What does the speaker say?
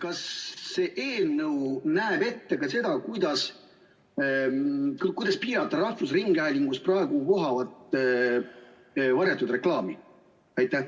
Kas see eelnõu näeb ette ka seda, kuidas piirata rahvusringhäälingus praegu vohavat varjatud reklaami?